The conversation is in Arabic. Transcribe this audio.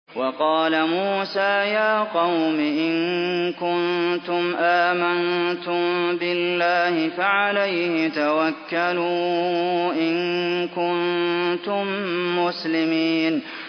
وَقَالَ مُوسَىٰ يَا قَوْمِ إِن كُنتُمْ آمَنتُم بِاللَّهِ فَعَلَيْهِ تَوَكَّلُوا إِن كُنتُم مُّسْلِمِينَ